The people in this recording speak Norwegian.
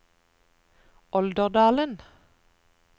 Olderdalen